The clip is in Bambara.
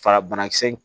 Fara banakisɛ